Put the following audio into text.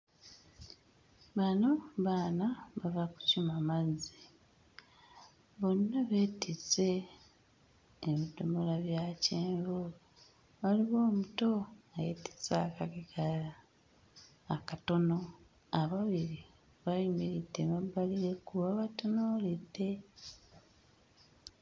Bano baana bava kukima mazzi. Bonna beetisse ebidomola bya kyenvu, waliwo omuto ayeetisse akadomola akatono, ababiri bayimiridde emabbali w'ekkubo babatunuulidde.